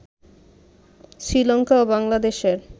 শ্রীলংকা ও বাংলাদেশের